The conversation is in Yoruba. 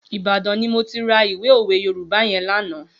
Ibadan ni mó ti rà ìwé ówé Yórùbá yèn lànã